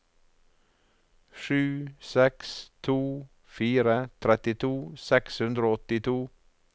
sju seks to fire trettito seks hundre og åttito